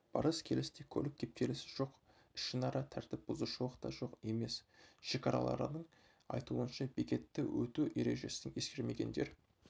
барыс-келісте көлік кептелісі жоқ ішінара тәртіп бұзушылық та жоқ емес шекарашылардың айтуынша бекетті өту ережесін ескермегендер